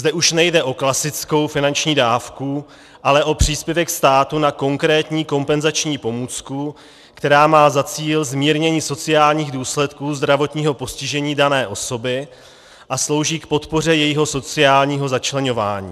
Zde už nejde o klasickou finanční dávku, ale o příspěvek státu na konkrétní kompenzační pomůcku, která má za cíl zmírnění sociálních důsledků zdravotního postižení dané osoby a slouží k podpoře jejího sociální začleňování.